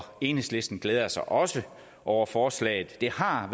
enhedslisten glæder sig også over forslaget det har